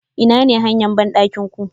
Inane hanya bandakin ku?